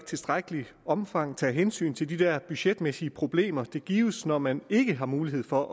tilstrækkeligt omfang taget hensyn til de der budgetmæssige problemer det giver når man ikke har mulighed for